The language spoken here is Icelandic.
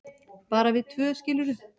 bara við tvö, skilurðu.